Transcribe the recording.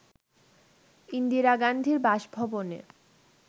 ইন্দিরা গান্ধীর বাসভবনে